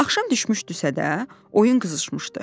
Axşam düşmüşdüsə də, oyun qızışmışdı.